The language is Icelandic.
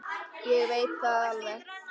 Ég veit það alveg.